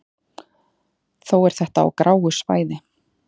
þó er þetta á gráu svæði